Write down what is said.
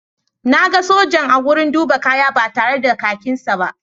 Na ga sojan a wurin duba kaya ba tare da kakinsa ba.